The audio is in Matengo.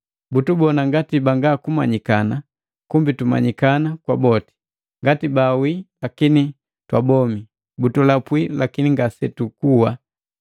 butubona ngati banga kumanyikana, kumbi tumanyikana kwa boti, ngati baawii lakini twa bomi, butulapwi lakini ngasetukuwa.